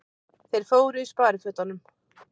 Þeir fóru í sparifötunum.